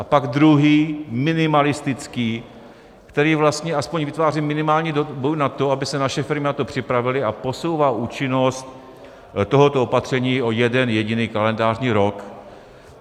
A pak druhý, minimalistický, který vlastně aspoň vytváří minimální dobu na to, aby se naše firmy na to připravily, a posouvá účinnost tohoto opatření o jeden jediný kalendářní rok.